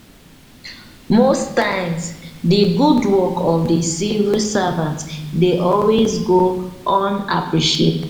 most times di good work of di civil servant dey always go unappreciated